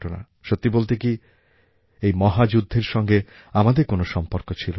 সত্যি বলতে কি এই মহাযুদ্ধের সঙ্গে আমাদের কোনো সম্পর্ক ছিল না